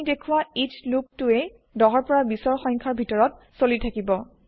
আমি দেখুৱা ইচ্চ লুপ টোই ১০ ২০ৰ সংখ্যাৰ ভিতৰত চলি থাকিব